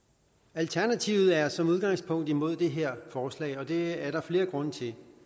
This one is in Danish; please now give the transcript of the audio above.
alternativet er som udgangspunkt imod det her forslag og det er der flere grunde til